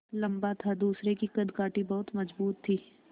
लम्बा था दूसरे की कदकाठी बहुत मज़बूत थी